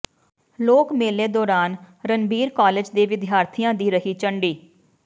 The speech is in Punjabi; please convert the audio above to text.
ਲੋਕ ਮੇਲੇ ਦੌਰਾਨ ਰਣਬੀਰ ਕਾਲਜ ਦੇ ਵਿਦਿਆਰਥੀਆਂ ਦੀ ਰਹੀ ਝੰਡੀ